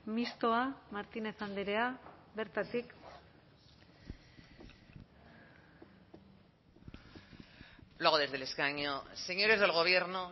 mistoa martínez andrea bertatik lo hago desde el escaño señores del gobierno